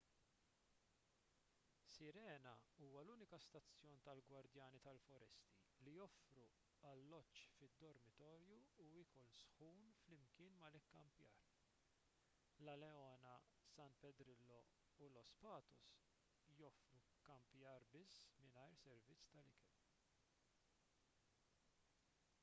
sirena huwa l-uniku stazzjon tal-gwardjani tal-foresti li joffri alloġġ fid-dormitorju u ikel sħun flimkien mal-ikkampjar la leona san pedrillo u los patos joffru kkampjar biss mingħajr servizz ta' ikel